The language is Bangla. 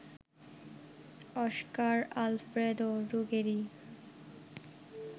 Oscar Alfredo Ruggeri